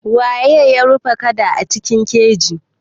Waye ya rufe kada a cikin keji?